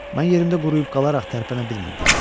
Mən yerimdə quruyub qalaraq tərpənə bilmirdim.